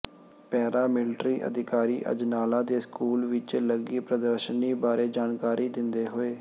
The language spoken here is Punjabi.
ਪੈਰਾ ਮਿਲਟਰੀ ਅਧਿਕਾਰੀ ਅਜਨਾਲਾ ਦੇ ਸਕੂਲ ਵਿਚ ਲੱਗੀ ਪ੍ਰਦਰਸ਼ਨੀ ਬਾਰੇ ਜਾਣਕਾਰੀ ਦਿੰਦੇ ਹੋਏ